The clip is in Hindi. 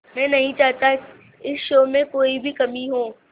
मैं नहीं चाहता इस शो में कोई भी कमी हो